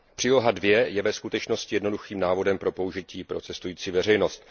Příloha II je ve skutečnosti jednoduchým návodem pro použití pro cestující veřejnost.